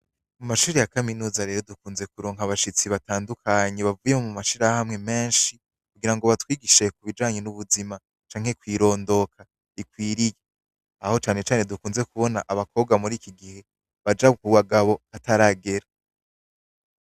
Kw'ishure rya kaminuza rero dukunze kuronka abashitsi batandukanye bavuye mu mashiramwe menshi, kugira ngo batwigishe kubijanye n'ubuzima canke kw'irondoka rikwiriye aho cane cane dukunze kubona abakobwa muri iki gihe baja ku bagabo hataragera.